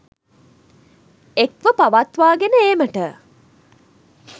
එක්ව පවත්වාගෙන ඒමට